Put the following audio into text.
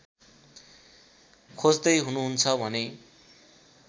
खोज्दै हुनुहुन्छ भने